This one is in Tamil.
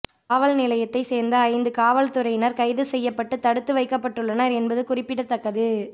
காவல் நிலையத்தை சேர்ந்த ஐந்து காவல்துறையினர் கைது செய்யப்பட்டு தடுத்து வைக்கப்பட்டுள்ளனர் என்பது குறிப்பிடத்தக்கது